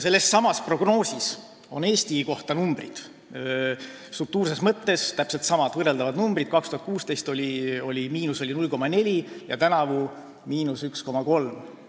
Sellessamas prognoosis on Eesti kohta järgmised numbrid, struktuurses mõttes täpselt samad, võrreldavad numbrid: aastal 2016 oli –0,4 ja tänavu on –1,3.